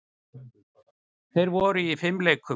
Þær voru í fimleikum.